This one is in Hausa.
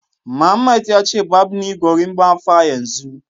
Mohammed ya ce barb ni gorimapa yanzu